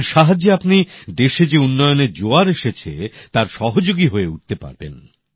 এর সাহায্যে আপনি দেশে যে উন্নয়নের জোয়ার এসেছে তার সহযোগী হয়ে উঠতে পারবেন